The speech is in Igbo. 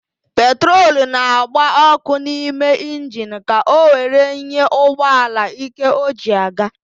Petrolu na-agba ọ́kụ́ n'ime injini ka o were nye ụgbọala íké o ji aga.